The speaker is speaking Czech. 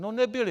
No nebyly.